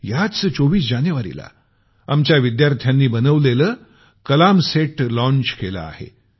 याच 24 जानेवारीला आमच्या विद्यार्थ्यांनी बनवलेलं कलामसेट लॉंच केलं आहे